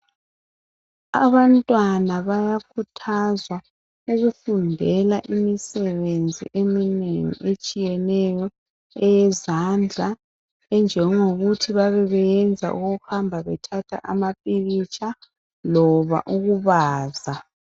Abantwana bayakhuthazwa ukufundela imisebenzi eminengi etshiyeneyo eyezandla enjengokuthi babebeyenza okokuhamba bethatha amapikitsha loba ukubaza.